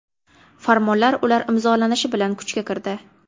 Farmonlar ular imzolanishi bilan kuchga kirdi.